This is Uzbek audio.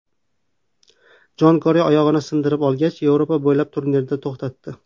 Jon Kerri oyog‘ini sindirib olgach, Yevropa bo‘ylab turnesini to‘xtatdi.